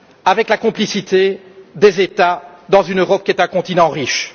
avec la complicité des États dans une Europe qui est un continent riche.